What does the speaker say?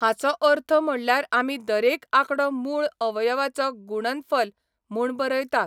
हाचो अर्थ म्हणल्यार आमी दरेक आंकडो मूळ अवयवाचो गुणनफल म्हूण बरयतात.